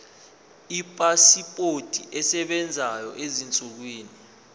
ipasipoti esebenzayo ezinsukwini